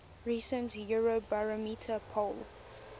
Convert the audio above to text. recent eurobarometer poll